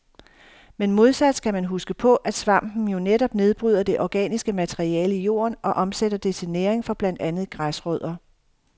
Men modsat skal man huske på, at svampen jo netop nedbryder det organiske materiale i jorden og omsætter det til næring for blandt andet græsrødder.